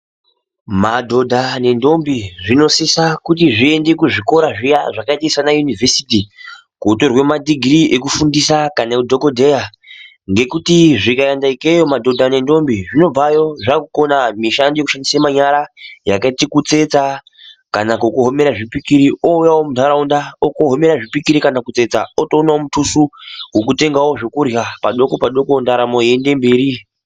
Madoda ne Ntombi zvinosisa kuenda kuzvikora zviya zvakaita sana yuniversity kotorwe madigiri ekufundisa kana ehudhogodheya ,nekuti zvikaendeke madoda ne ntombi zvinobvayo zvakukona mishando yekushandise nyara ,yakaite sekutsetsa kana kuwomera zvipikiri owuya muntaraunda ogowomera zvipikiri kana kutsetsa otowana mutusu wokutengawo zvekurya padoko padoko ntaramo iyiyende mberi.